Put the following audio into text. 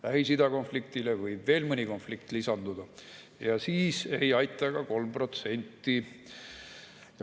Lähis-Ida konfliktile võib veel mõni konflikt lisanduda ja siis ei aita ka 3%.